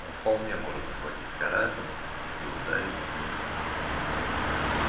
он вполне может захватить корабль и ударить на нём